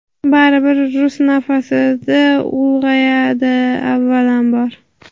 baribir rus nafasida ulg‘ayadi avvalambor.